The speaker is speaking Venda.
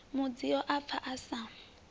mudzio a pfa a sa